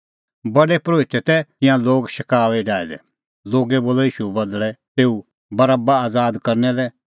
पर प्रधान परोहितै तै तिंयां लोग शकाऊई डाहै दै लोगै बोलअ ईशूए बदल़ै तेऊ बरोबा आज़ाद करना लै